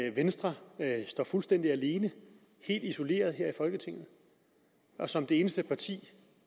at venstre står fuldstændig alene helt isoleret her i folketinget og som det eneste parti